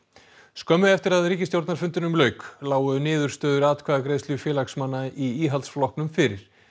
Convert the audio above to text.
skömmu eftir að ríkisstjórnarfundinum lauk lágu niðurstöður atkvæðagreiðslu félagsmanna í Íhaldsflokknum fyrir